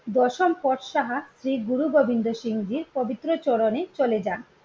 দশম পর সাহা শ্রী গুরুগোবিন্দ সিং জির পবিত্র চরণে চলে যান